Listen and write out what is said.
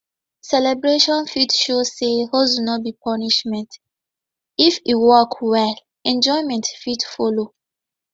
celebration fit show sey hustle no be punishment if e work well enjoyment fit follow